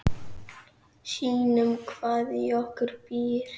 Sýnum hvað í okkur býr.